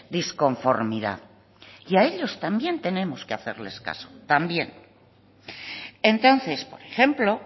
disconformidad y a ellos también tenemos que hacerles caso también entonces por ejemplo